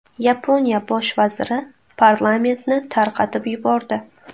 Yaponiya bosh vaziri parlamentni tarqatib yubordi.